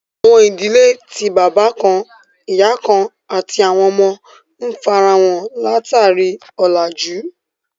Àwọn idílẹ̀ tí baba kàn-ìyà kàn-àti àwọn ọmọ, n fáráhàn lá-tarí ọlájú